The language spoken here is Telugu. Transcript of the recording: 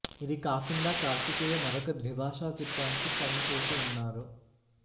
ఇది కాకుండా కార్తికేయ మరొక ద్విభాషా చిత్రానికి సైన్ చేసి ఉన్నారు